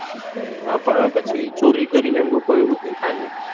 હા પણ એ ચોરી કરી લે લોકો એવું તો નાય થાય ને